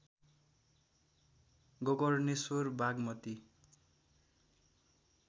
Gokarneshwar Bagmati